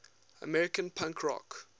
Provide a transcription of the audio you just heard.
american punk rock